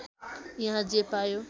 यहाँ जे पायो